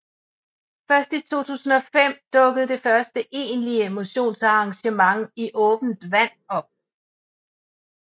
Først i 2005 dukkede det første egentlige motionsarrangement i åbent vand op